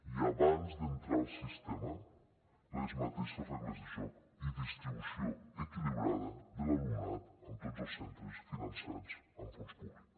i abans d’entrar al sistema les mateixes regles de joc i distribució equilibrada de l’alumnat en tots els centres finançats amb fons públic